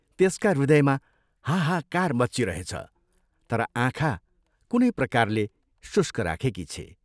त्यसका हृदयमा हाहाकार मच्चिरहेछ तर आँखा कुनै प्रकारले शुष्क राखेकी छे।